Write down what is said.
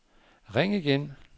ring igen